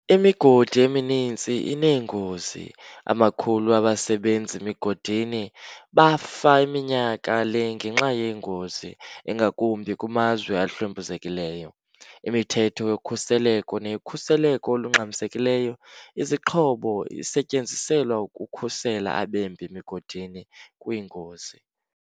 Imigodi emininzi innengozi. amakhulu abasebenzi migodini bafa minyaka le ngenxa yeengozi, ingakumbi kumazwe ahlwempuzekileyo. imithetho yokhuseleko neyokhuseleko olungxamisekileyo izixhobo isetyenziselwa ukukhusela abembi migodini kwiingozi.